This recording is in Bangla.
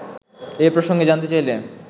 এ প্রসঙ্গে জানতে চাইলে